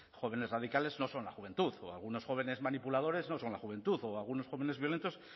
jóvenes radicales no son la juventud o algunos jóvenes manipuladores no son la juventud o algunos jóvenes violentos